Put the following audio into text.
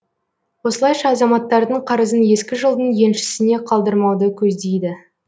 осылайша азаматтардың қарызын ескі жылдың еншісіне қалдырмауды көздейді